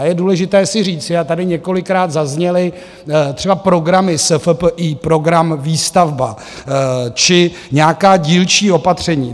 A je důležité si říci, a tady několikrát zazněly třeba programy SFPI, Program výstavba či nějaká dílčí opatření.